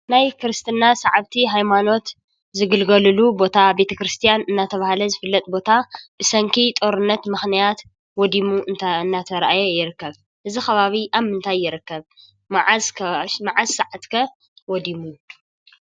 ናይ ክረስትና ሰዓብቲ ሃይማኖት ዝግልገሉ ቦታ ቤተክርስትያን እንዳተባሃለ ዝፍለጥ ቦታ ብሰንኪ ጦርነት ምክንያት ወዲሙ እናተኣራየ ይርከብ። እዚ ከባቢ ኣብ ምንታይ ይርከብ ? መዓዝ ሰዓት ከ ወዲሙ ?